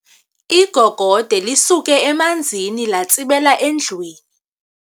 Igogode lisuke emanzini latsibela endlwini.